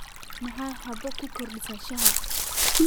Maxay xabo ku kordhisaa shaaha?